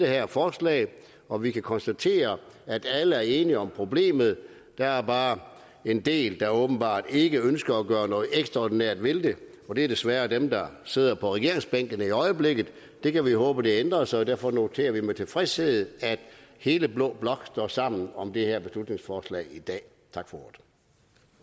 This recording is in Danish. her forslag og vi kan konstatere at alle er enige om problemet der er bare en del der åbenbart ikke ønsker at gøre noget ekstraordinært ved det og det er desværre dem der sidder på regeringsbænkene i øjeblikket det kan vi håbe ændrer sig og derfor noterer vi med tilfredshed at hele blå blok står sammen om det her beslutningsforslag i dag